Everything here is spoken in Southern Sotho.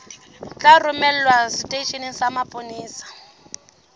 tla romelwa seteisheneng sa mapolesa